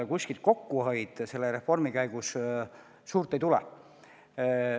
Kuskilt kokkuhoidu selle reformi käigus suurt ei tule.